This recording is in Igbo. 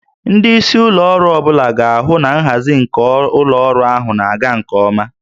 Ndị isi ụlọ ọrụ ọ bụla ga-ahụ na nhazi nke ụlọ ọrụ ahụ na-aga nke ọma